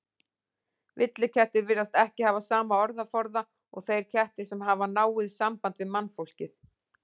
Villikettir virðast ekki hafa sama orðaforða og þeir kettir sem hafa náið samband við mannfólkið.